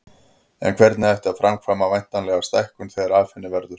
En hvernig ætti að framkvæma væntanlega stækkun þegar af henni verður.